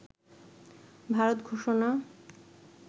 ভারত ঘোষণা